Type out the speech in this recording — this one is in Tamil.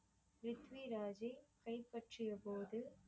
ப்ரித்விராஜை கைப்பற்றியபோது